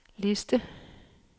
liste